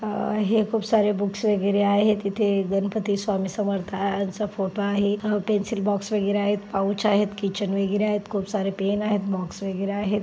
अ खूप सारे बुक्स वगैरे आहेत इथे गणपती स्वामी समर्थांच फोटो आहे पेन्सिल बॉक्स वगैरे आहेत पाउच आहेत कीचेन वगैरे आहेत खूप सारे पेन आहेत बॉक्स वगैरे आहे.